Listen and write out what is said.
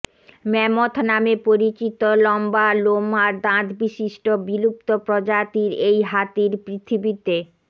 mammoth নামে পরিচিত লম্বা লোম আর দাঁত বিশিষ্ট বিলুপ্ত প্রজাতির এই হাতির পৃথিবীতে